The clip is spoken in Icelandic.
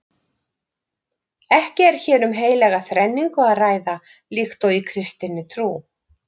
Ekki er hér um heilaga þrenningu að ræða líkt og í kristinni trú.